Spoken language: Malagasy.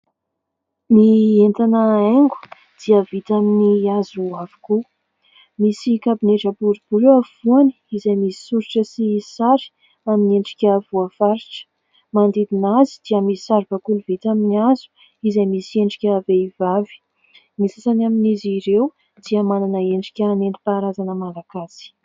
Ny entana haingo dia vita amin'ny hazo avokoa, msiy kabinetra boribory eo afovoany izay misy soritra sy sary amin'ny endrika voafaritra, manodidina azy dia misy saribakoly vita amin'ny hazo izay misy endrika vehivavy, ny sasany amin'izy ireo dia manana endrika nentim-paharazana malagasy.